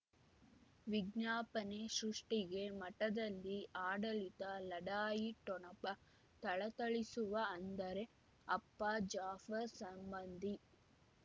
ವಿಜ್ಞಾಪನೆ ಸೃಷ್ಟಿಗೆ ಮಠದಲ್ಲಿ ಆಡಳಿತ ಲಢಾಯಿ ಠೊಣಪ ಥಳಥಳಿಸುವ ಅಂದರೆ ಅಪ್ಪ ಜಾಫರ್ ಸಂಬಂಧಿ